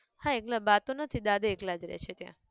હા એટલે બા તો નથી દાદા એકલા જ રેહ છે ત્યાં